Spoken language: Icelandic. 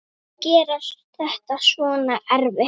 Gera þetta svona erfitt.